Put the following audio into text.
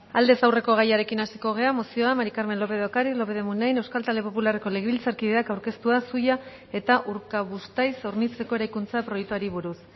aldez aurreko gaiarekin hasiko gara mozioa maría carmen lópez de ocariz lópez de muniain euskal talde popularreko legebiltzarkideak aurkeztua zuia eta urkabustaiz hornitzeko eraikuntza proiektuari buruz